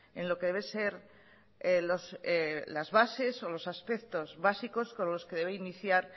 en lo que debe ser las bases o los aspectos básicos con los que debe iniciar